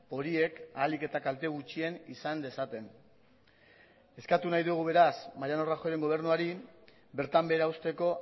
horiek ahalik eta kalte gutxien izan dezaten eskatu nahi dugu beraz mariano rajoyren gobernuari bertan behera uzteko